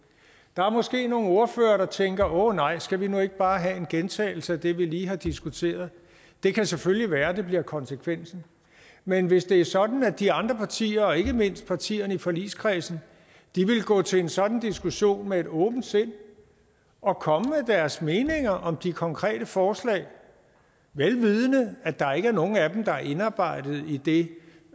der er måske nogle ordførere der tænker åh nej skal vi nu ikke bare have en gentagelse af det vi lige har diskuteret det kan selvfølgelig være at det bliver konsekvensen men hvis det er sådan at de andre partier og ikke mindst partierne i forligskredsen vil gå til en sådan diskussion med et åbent sind og komme med deres meninger om de konkrete forslag vel vidende at der ikke er nogen af dem der er indarbejdet i det